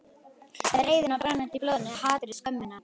Með reiðina brennandi í blóðinu, hatrið, skömmina.